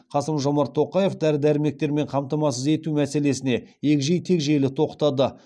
қасым жомарт тоқаев дәрі дәрмектермен қамтамасыз ету мәселесіне егжей тегжейлі тоқтады